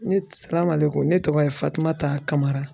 Ne ne tɔgɔ ye Fatumata Kamara